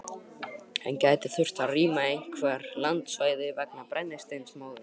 En gæti þurft að rýma einhver landsvæði vegna brennisteinsmóðunnar?